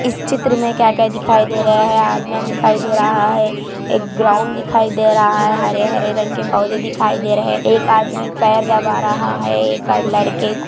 इस चित्र में क्या-क्या दिखाई दे रहा है आदमियां दिखाई दे रहा है एक ग्राउंड दिखाई दे रहा है हरे-हरे रंग के पौधे दिखाई दे रहे है एक आदमी पैर दबा रहा है एक लड़के को।